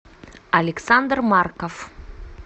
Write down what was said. александр марков